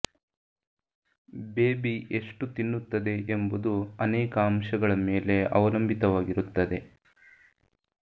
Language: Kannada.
ಬೇಬಿ ಎಷ್ಟು ತಿನ್ನುತ್ತದೆ ಎಂಬುದು ಅನೇಕ ಅಂಶಗಳ ಮೇಲೆ ಅವಲಂಬಿತವಾಗಿರುತ್ತದೆ